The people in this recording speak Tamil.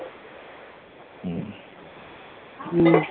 உம்